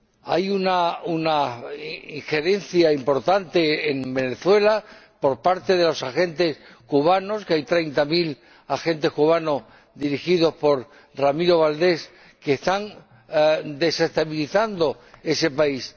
Hay una injerencia importante en Venezuela por parte de agentes cubanos —hay treinta mil agentes cubanos, dirigidos por Ramiro Valdés— que están desestabilizando ese país.